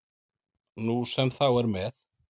Nú sem þá er með